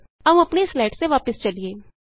ਆਉ ਆਪਣੀਆਂ ਸਲਾਈਡਸ ਤੇ ਵਾਪਸ ਚਲੀਏ